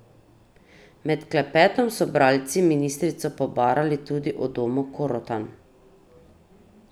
Med klepetom so bralci ministrico pobarali tudi o domu Korotan.